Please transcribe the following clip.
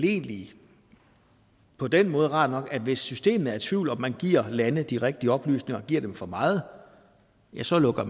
egentlig på den måde er rart nok at hvis systemet er i tvivl om om de giver et land de rigtige oplysninger eller giver det for meget ja så lukker